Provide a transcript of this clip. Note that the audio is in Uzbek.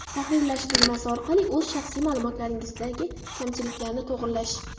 tahrirlash tugmasi orqali o‘z shaxsiy ma’lumotlaridagi kamchiliklarni to‘g‘rilash;.